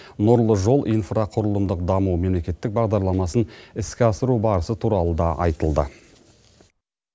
нұрлы жол инфрақұрылымдық даму мемлекеттік бағдарламасын іске асыру барысы туралы да айтылды